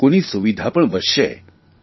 અને લોકોની સુવિધા પણ વધશે